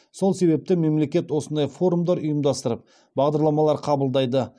сол себепті мемлекет осындай форумдар ұйымдастырып бағдарламалар қабылдайды